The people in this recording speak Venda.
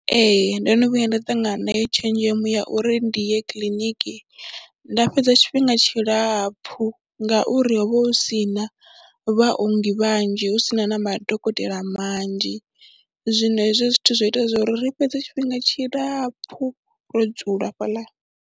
Ee, ndo no vhuya nda ṱangana nayo tshenzhemo ya uri ndi ye kiḽiniki nda fhedza tshifhinga tshilapfhu ngauri ho vha hu si na vhaongi vhanzhi hu si na na madokotela manzhi, zwino hezwo zwithu zwo ita zwo ri fhedze tshifhinga tshilapfhu ro dzula hafhaḽa.